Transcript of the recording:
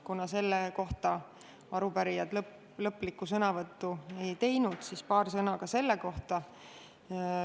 Kuna selle puhul arupärijad lõppsõnavõttu ei teinud, siis paar sõna ka selle kohta.